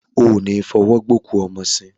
O ní fọwọ́ gbé òkú ọmọ sìn.